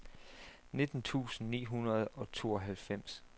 nitten tusind ni hundrede og tooghalvfems